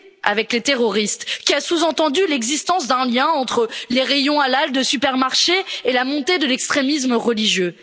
avec les terroristes, qui a sous entendu l'existence d'un lien entre les rayons halal des supermarchés et la montée de l'extrémisme religieux.